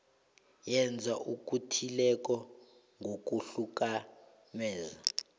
yenza okuthileko ngokuhlukumeza